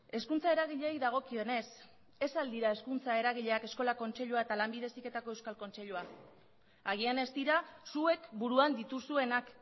hezkuntza eragileei dagokionez ez al dira hezkuntza eragileak eskola kontseilua eta lanbide heziketako euskal kontseilua agian ez dira zuek buruan dituzuenak